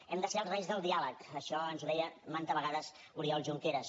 hem de ser els reis del diàleg això ens ho deia manta vegades oriol junqueras